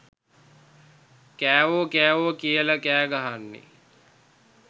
කෑවෝ කෑවෝ කියල කෑගහන්නෙ